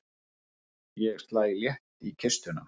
Ég slæ létt í kistuna.